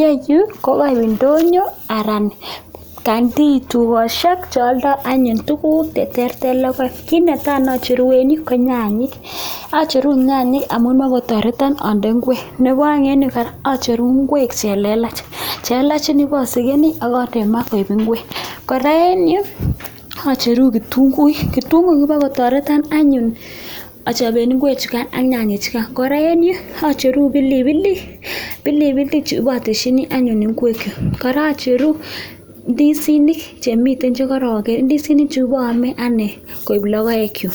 yeyuu koindonyo anan canteenchu tukoshek che aldai anyun tuguk cheterter ak logoek. ki netai acheru eng yu ko nyanyek, acheru nyanyek amuu ipkotartea ande ingwek nebaeng acheruu ngwek chelelach. chelelach pasegeni akande maa koek ngwek. kora eng yuu acheru kitunguik , kitunguik kotaretan anyun achope ngwek ak nyanyek chugain. kora eng yu acheur pilipilik .pilipilik pateschini ngwek kara acheru ndisinik chemitei cherakanr ndisinik paame koek logoek chu